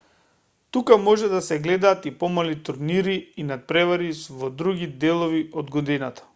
тука може да се гледаат и помали турнири и натпревари во други делови од годината